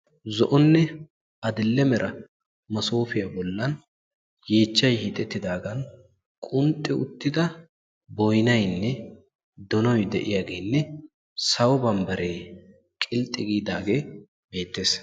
Zo'onne adile mera massofiyaa bollan yeechchay hiixetidaaga boynnaynne donoy de'iyaage sawo bambbare qixxi giidaage beettees.